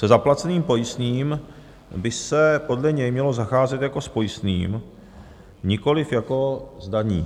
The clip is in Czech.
Se zaplaceným pojistným by se podle něj mělo zacházet jako s pojistným, nikoliv jako s daní.